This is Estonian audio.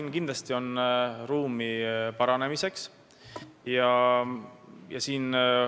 Ma arvan, et ruumi paranemiseks kindlasti on.